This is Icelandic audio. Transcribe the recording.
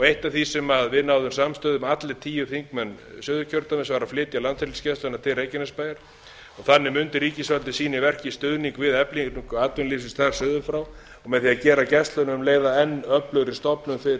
eitt af því sem við náðum samstöðu um allir tíu þingmenn suðurkjördæmis var að flytja landhelgisgæsluna til reykjanesbæjar og þannig mundi ríkisvaldið sýna í verki stuðning við eflingu atvinnulífsins þar suður frá og með því að gera gæsluna um leið að enn öflugri stofnun til